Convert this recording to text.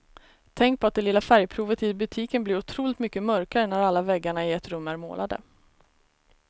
Tänk på att det lilla färgprovet i butiken blir otroligt mycket mörkare när alla väggarna i ett rum är målade.